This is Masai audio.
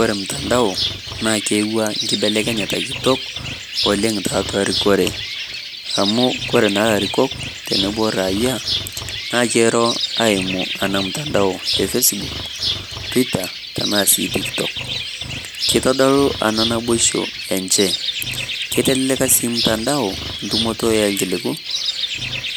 Ore mtandao naa eewua nkibelekenyata kitok, oleng' tiatua erikore amu ore naa larikok tenebo raayia, naa kiro eimu ena mtandao e Facebook ,Twitter tenaa sii TikTok kitodolu ena naboisho enje keya ele kasi temtandao entumoto oo kiliku,